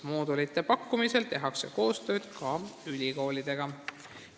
Moodulite pakkumisel tehakse koostööd ka ülikoolidega.